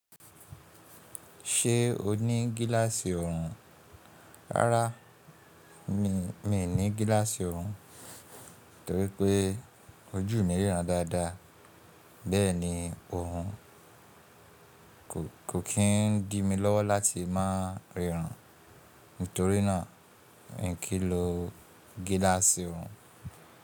Ṣé o ní gíláàsì ọrùn? Rárá, mi ò ní gíláàsì ọrùn torí pé ojú mi ríran dáadáa. Bẹ́ẹ̀ni ọrùn kò kí n di mi lọ́wọ́ láti má ríran. Nítorínà mi kì í lo gíláàsì ọrùn.